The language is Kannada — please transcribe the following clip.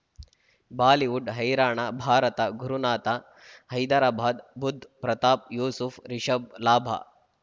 ಬಾಲಿವುಡ್ ಹೈರಾಣ ಭಾರತ ಗುರುನಾಥ ಹೈದರಾಬಾದ್ ಬುಧ್ ಪ್ರತಾಪ್ ಯೂಸುಫ್ ರಿಷಬ್ ಲಾಭ